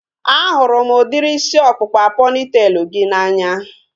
A hụrụ m udiri isi ọkpụkpa pọnitelu gị n'anya